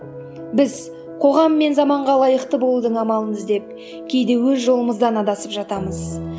біз қоғам мен заманға лайықты болудың амалын іздеп кейде өз жолымыздан адасып жатамыз